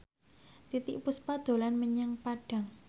Titiek Puspa dolan menyang Padang